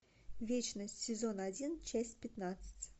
вечность сезон один часть пятнадцать